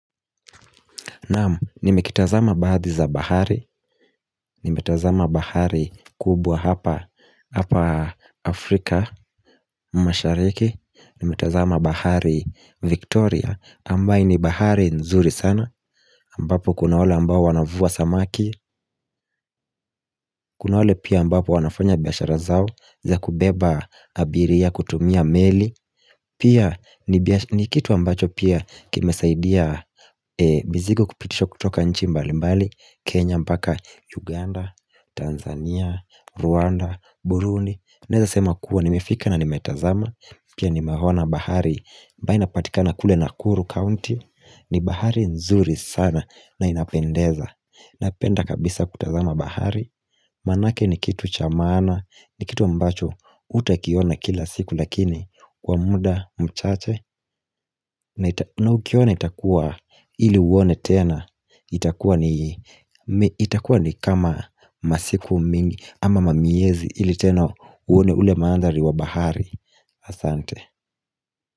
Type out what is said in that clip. Naam, nimekitazama baadhi za bahari, nimetazama bahari kubwa hapa Afrika, mashariki, nimetazama bahari Victoria, ambaye ni bahari nzuri sana, ambapo kuna wale ambao wanavua samaki, kuna wale pia ambapo wanafanya biashara zao, za kubeba abiria kutumia meli Pia ni kitu ambacho pia kimesaidia mizigo kupitishwa kutoka nchi mbalimbali Kenya mpaka Uganda, Tanzania, Rwanda, Burundi Naeza sema kuwa nimefika na nimetazama Pia nimehona bahari ambayo inapatikana kule Nakuru County ni bahari nzuri sana na inapendeza Napenda kabisa kutazama bahari Manake ni kitu cha maana ni kitu ambacho hutakiona kila siku lakini kwa muda mchache na ukiona itakua ili uone tena itakua ni kama masiku mingi ama mamiezi ili tena uone ule maanthari wa bahari Asante.